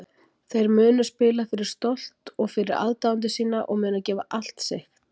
Þeir munu spila fyrir stolt og fyrir aðdáendur sína og munu gefa allt sig.